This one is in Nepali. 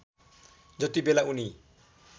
जति बेला उनी